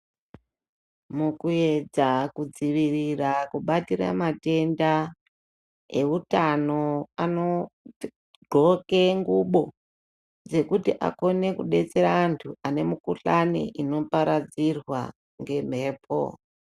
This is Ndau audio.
Mukuedza kudzivirira kubatira matenda eutano anoghloke ngubo dzekuti akone kubatsira antu ane mikuhlani inoparadzirwa ngemhepo.